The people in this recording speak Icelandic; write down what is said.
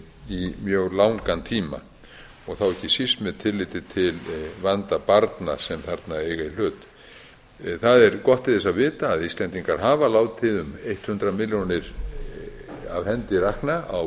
í mjög langan tíma þá ekki síst með tilliti til vanda barna sem þarna eiga í hlut það er gott til þess að vita að íslendingar hafa látið um hundrað milljónir af hendi rakna á